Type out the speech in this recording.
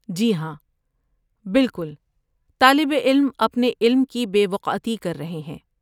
جی ہاں، بالکل، طالب علم اپنے علم کی بے وقعتی کر رہے ہیں۔